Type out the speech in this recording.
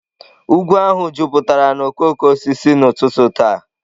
Ugwu ahụ jupụtara na okooko osisi n'ụtụtụ taa.